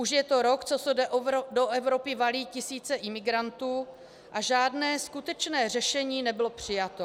Už je to rok, co se do Evropy valí tisíce imigrantů, a žádné skutečné řešení nebylo přijato.